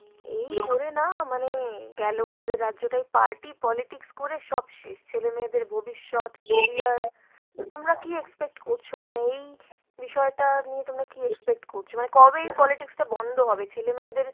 এই করে না মানে গেলো আমাদের রাজ্যটাই party politics করে সব শেষ, ছেলে মেয়েদের ভবিষ্যৎ, career। তো তোমরা কী expect করছো? মানে এই বিষয়টা নিয়ে তোমার কী expect করছো ? মানে কবে এই politics টা বন্ধ হবে? ছেলেমেয়েদের